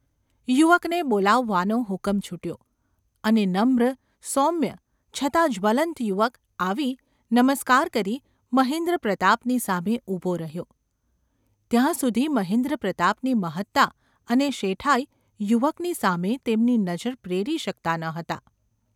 યુવકને બોલાવવાનો હુકમ છૂટ્યો અને નમ્ર, સૌમ્ય છતાં જ્વલંત યુવક આવી, નમસ્કાર કરી મહેન્દ્રપ્રતાપની સામે ઊભો રહ્યો ત્યાં સુધી મહેન્દ્રપ્રતાપની મહત્તા અને શેઠાઈ યુવકની સામે તેમની નજર પ્રેરી શકતાં ન હતાં.